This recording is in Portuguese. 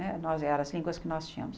Né nós eram as línguas que nós tínhamos.